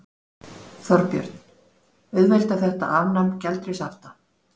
Þorbjörn: Auðveldar þetta afnám gjaldeyrishafta?